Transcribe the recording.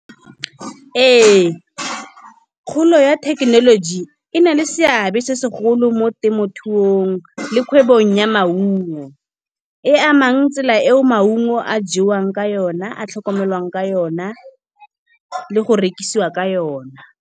Ee, kgolo ya thekenoloji e na le seabe se segolo mo temothuong, le kgwebong ya maungo. E amang tsela eo maungo a jewang ka yona, a tlhokomelwang ka yona le go rekisiwa ka yona.